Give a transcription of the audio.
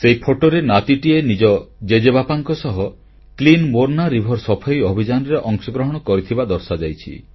ସେହି ଫଟୋରେ ନାତିଟିଏ ନିଜ ଜେଜେବାପାଙ୍କ ସହ କ୍ଲିନ୍ ମୋର୍ନା ରିଭର ସଫେଇ ଅଭିଯାନରେ ଅଂଶଗ୍ରହଣ କରିଥିବା ଦର୍ଶାଯାଇଛି